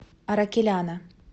аракеляна